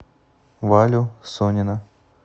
валю сонина